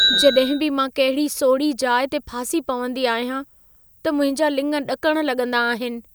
जॾहिं बि मां कहिड़ी सोड़ही जाइ ते फासी पवंदी आहियां, त मुंहिंजा लिङ ॾकण लॻंदा आहिनि।